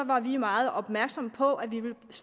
var vi meget opmærksomme på at vi